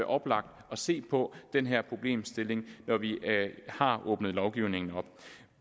oplagt at se på den her problemstilling når vi har åbnet lovgivningen